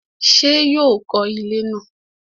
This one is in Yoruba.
ṣé yóò kọ ilẹ́ náà?